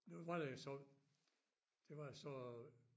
Nu var det jo sådan det var altså